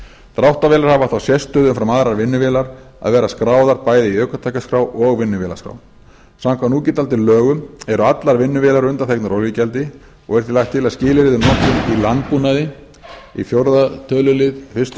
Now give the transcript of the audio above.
dráttarvélar hafa þá sérstöðu umfram aðrar vinnuvélar að vera skráðar bæði í ökutækjaskrá og vinnuvélaskrá samkvæmt núgildandi lögum eru allar vinnuvélar undanþegnar olíugjaldi er því lagt til að skilyrðið um notkun í landbúnaði í fjórða tölulið fyrstu